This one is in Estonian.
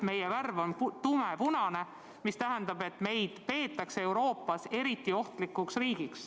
Meie värv on tumepunane, mis tähendab, et meid peetakse Euroopas eriti ohtlikuks riigiks.